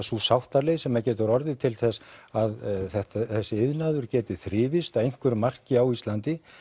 sú sáttaleið sem getur orðið til þess að þessi iðnaður geti þrifist að einhverju marki á Íslandi